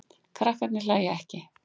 Krakkarnir hlæja ekki.